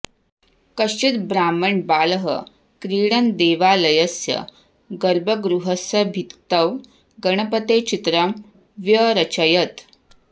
कश्चित् ब्राह्मणबालः क्रीडन् देवालयस्य गर्भगृहस्य भित्तौ गणपते चित्रं व्यरचयत्